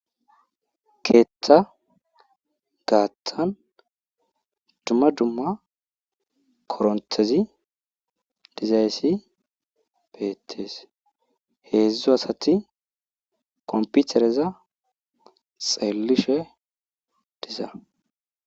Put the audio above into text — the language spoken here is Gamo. keeththa gaattan dumma dumma koronthezi dizayssi beettees heedzdzu asati komputereza xeellishe diza